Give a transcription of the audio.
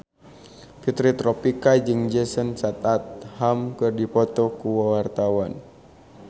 Fitri Tropika jeung Jason Statham keur dipoto ku wartawan